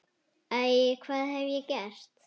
Æ, hvað hef ég gert?